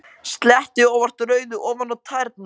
Sletti óvart rauðu ofan á tærnar.